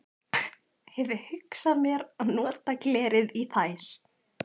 Hefi hugsað mér að nota glerið í þær.